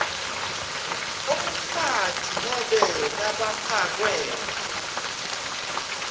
umfati nobe labafakwe